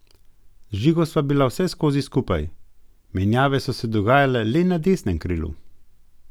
Z Žigo sva bila vseskozi skupaj, menjave so se dogajale le na desnem krilu.